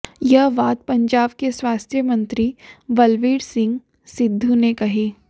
यह बात पंजाब के स्वास्थ्य मंत्री बलबीर सिंह सिद्धू ने कही